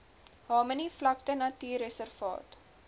harmony vlakte natuurreservaat